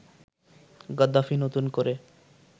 "Gaddafi নতুন করে